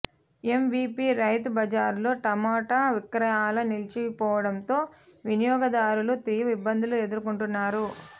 MVP రైతు బజార్లో టమాట విక్రయాలు నిలిచిపోవడంతో వినియోగదారులు తీవ్ర ఇబ్బందులు ఎదుర్కొంటున్నారు